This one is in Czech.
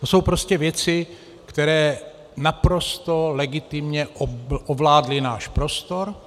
To jsou prostě věci, které naprosto legitimně ovládly náš prostor.